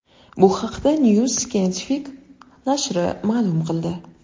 Bu haqda New Scientific nashri ma’lum qildi .